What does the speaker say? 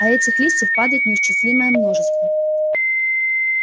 а этих листьев падает неисчислимое множество